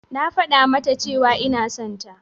Na faɗa mata cewa ina son ta.